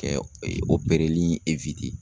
Kɛ ee opereli